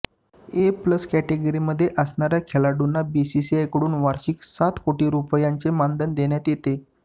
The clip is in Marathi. ए प्लस कॅटेगरीमध्ये असणाऱ्या खेळाडूंना बीसीसीआयकडून वार्षिक सात कोटी रुपयांचे मानधन देण्यात येते